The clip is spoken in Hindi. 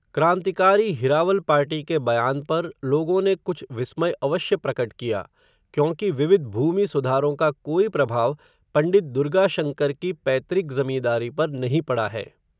क्रान्तिकारी हिरावल पार्टी के बयान पर, लोगों ने, कुछ विस्मय अवश्य प्रकट किया, क्योंकि, विविध भूमिसुधारों का, कोई प्रभाव, पण्डित दुर्गाशङ्कर की पैतृक ज़मींदारी पर, नहीं पड़ा है